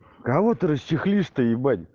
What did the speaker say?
кого-то расчехлисты ебали